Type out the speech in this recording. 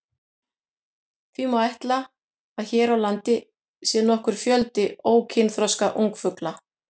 Því má ætla að hér á landi sé nokkur fjöldi ókynþroska ungfugla.